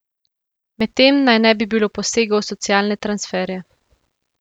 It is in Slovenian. Medtem naj ne bi bilo posegov v socialne transferje.